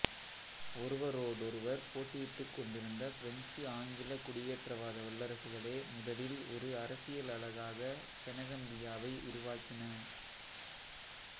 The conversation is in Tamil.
ஒருவரோடொருவர் போட்டியிட்டுக்கொண்டிருந்த பிரெஞ்சு ஆங்கிலக் குடியேற்றவாத வல்லரசுகளே முதலில் ஒரு அரசியல் அலகாக செனகம்பியாவை உருவாக்கின